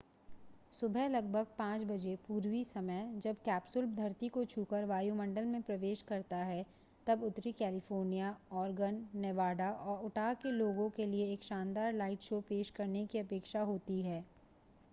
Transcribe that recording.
सुबह लगभग 5 बजे पूर्वी समय जब कैप्सूल धरती को छूकर वायुमंडल में प्रवेश करता है तब उत्तरी कैलिफ़ोर्निया ऑरेगन नेवाडा और उटाह के लोगों के लिए एक शानदार लाइट शो पेश करने की अपेक्षा होती है